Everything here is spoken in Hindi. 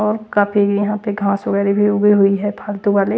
और काफी यहाँ पे घास वगैरह भी उगी हुई है फालतू वाले --